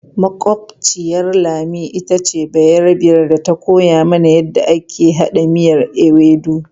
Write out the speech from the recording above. Makwabciyar Lami ita ce bayarbiyar da ta koya mana yadda ake haɗa miyan ewedu.